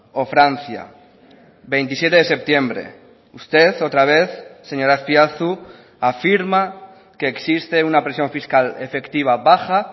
o francia veintisiete de septiembre usted otra vez señor azpiazu afirma que existe una presión fiscal efectiva baja